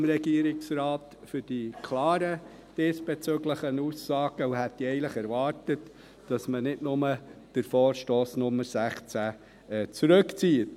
Ich danke dem Regierungsrat für die klaren diesbezüglichen Aussagen und hätte eigentlich erwartet, dass man nicht nur den Vorstoss Nummer 16 zurückzieht.